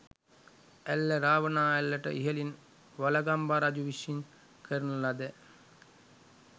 ඇල්ල රාවනා ඇල්ලට ඉහළින් වළගම්බා රජු විසින් කරන ලදැ